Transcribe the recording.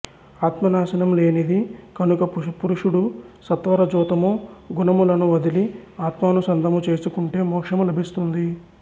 ఆత్మ నాశనం లేనిది కనుక పురుషుడు సత్వరజోతమో గుణములను వదిలి ఆత్మానుసంధము చేసుకుంటే మోక్షము లభిస్తుంది